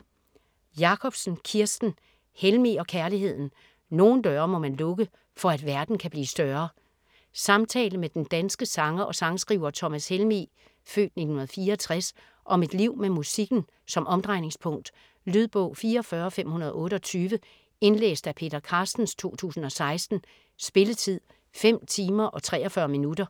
Jacobsen, Kirsten: Helmig og kærligheden: nogle døre må man lukke for at verden kan blive større Samtale med den danske sanger og sangskriver Thomas Helmig (f. 1964) om et liv med musikken som omdrejningspunkt. Lydbog 44528 Indlæst af Peter Carstens, 2016. Spilletid: 5 timer, 43 minutter.